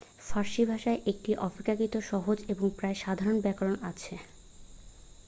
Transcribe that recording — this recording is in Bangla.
ফার্সি ভাষার একটি অপেক্ষাকৃত সহজ এবং প্রায় সাধারণ ব্যাকরণ আছে